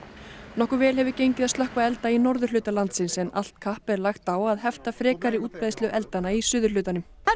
nokkuð vel hefur gengið að slökkva elda í norðurhluta landsins en allt kapp er lagt á að hefta frekari útbreiðslu eldanna í suðurhlutanum